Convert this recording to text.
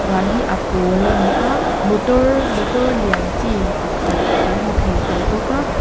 van hi a pawl a ni a motor motor lian chi pakhat kan hmu thei tel bawk a.